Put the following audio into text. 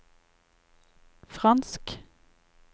fransk